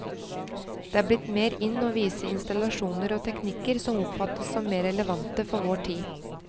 Det er blitt mer in å vise installasjoner og teknikker som oppfattes som mer relevante for vår tid.